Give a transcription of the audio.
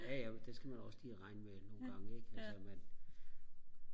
jaja det skal man også lige regne med nogle gange ikke altså at man